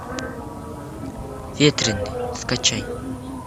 ветреный скачай